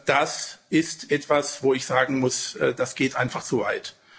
Das ist etwas, wo ich sagen muss Das geht einfach zu weit.